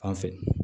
An fɛ